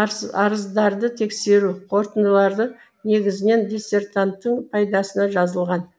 арыздарды тексеру қорытындылары негізінен диссертанттың пайдасына жазылған